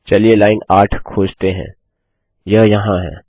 चलिए लाइन 8 खोजते हैं यह यहाँ है